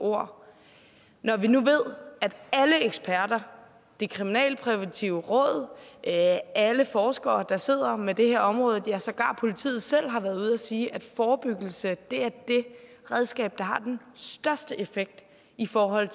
ord når vi nu ved at det kriminalpræventive råd og alle forskere der sidder med det her område ja sågar politiet selv har været ude og sige at forebyggelse er det redskab der har den største effekt i forhold